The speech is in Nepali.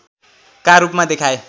का रूपमा देखाए